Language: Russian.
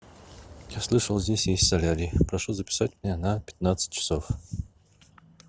я слышал здесь есть солярий прошу записать меня на пятнадцать часов